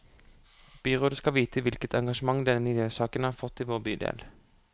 Byrådet skal vite hvilket engasjement denne miljøsaken har fått i vår bydel.